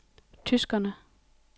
tyskerne